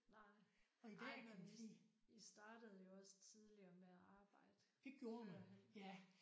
Nej. Ej men I startede jo også tidligere med at arbejde førhen